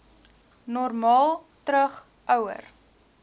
normaal terug ouer